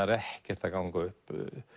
er ekkert að ganga upp